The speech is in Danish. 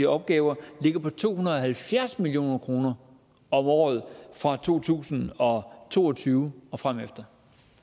opgaver ligger på to hundrede og halvfjerds million kroner om året fra to tusind og to og tyve og fremefter